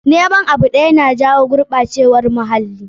Noman abu ɗaya na jawo gurɓacewar muhalli.